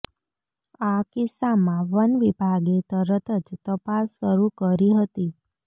આ કિસ્સામાં વન વિભાગે તરત જ તપાસ શરૂ કરી હતી